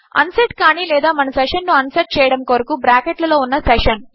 unset కానీ లేదా మన సెషన్ ను అన్సెట్ చేయడము కొరకు బ్రాకెట్ లలో ఉన్న సెషన్